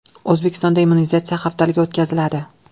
O‘zbekistonda immunizatsiya haftaligi o‘tkaziladi.